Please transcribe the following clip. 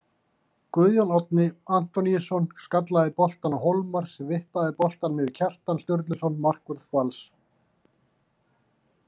Guðjón Árni Antoníusson skallaði boltann á Hólmar sem vippaði boltanum yfir Kjartan Sturluson markvörð Vals.